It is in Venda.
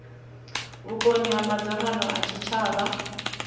vhukoni ha madzangano a tshitshavha